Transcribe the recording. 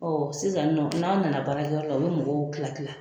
sisan nɔn n'anw nana baara kɛ yɔrɔ la, u bi mɔgɔw kila kila